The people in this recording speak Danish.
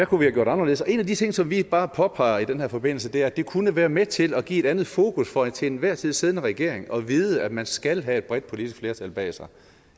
kunne have gjort anderledes og en af de ting som vi bare påpeger i den her forbindelse er at det kunne være med til at give et andet fokus for den til enhver tid siddende regering at vide at man skal have et bredt politisk flertal bag sig